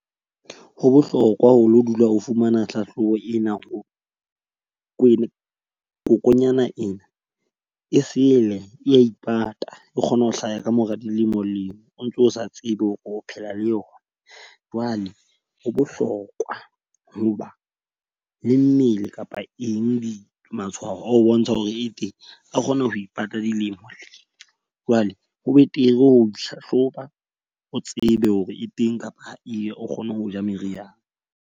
Ho bohlokwa ho lo dula o fumana hlahlobo ena, o ko kokonyana ena e sele e ipata e kgona ho hlaha ka mora dilemo leo o ntso o sa tsebe hore o phela le yona. Jwale ho bohlokwa ho ba le mmele kapa eng di matshwao a ho bontsha hore e teng, a kgone ho ipata dilemo lemo. Jwale ho betere ho ihlahloba o tsebe hore e teng kapa e be o kgone ho ja meriana.